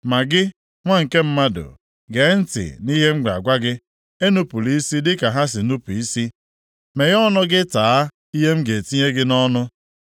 Ma gị, nwa nke mmadụ, gee ntị nʼihe m na-agwa gị. Enupula isi dịka ha si nupu isi. Meghee ọnụ gị taa ihe m ga-etinye gị nʼọnụ.”